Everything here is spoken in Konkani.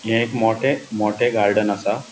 हे एक मोठे मोठे गार्डन आसा.